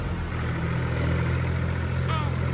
Örfáir þeirra standa enn.